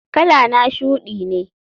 Kalana shudi ne.